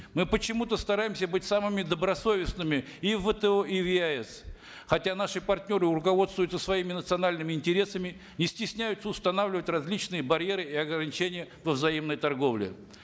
мы почему то стараемся быть самыми добросовестными и в вто и в еаэс хотя наши партнеры руководствуются своими национальными интересами не стесняются устанавливать различные барьеры и ограничения во взаимной торговле